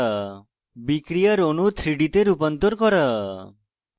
বিক্রিয়ার অণু 3d তে রূপান্তর করা